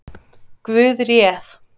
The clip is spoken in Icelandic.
Guð réð